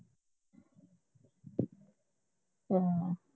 ਹਮ